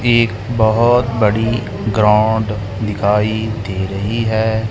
एक बहुत बड़ी ग्राउंड दिखाई दे रही है।